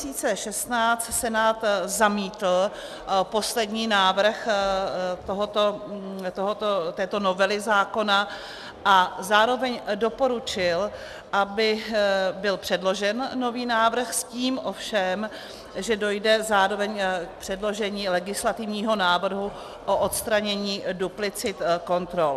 Senát zamítl poslední návrh této novely zákona a zároveň doporučil, aby byl předložen nový návrh, s tím ovšem, že dojde zároveň k předložení legislativního návrhu o odstranění duplicit kontrol.